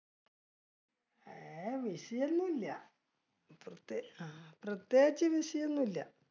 ഏർ busy ഒന്നുമില്ല, പ്രത്യേകിച്ച് busy ഒന്നുമില്ല.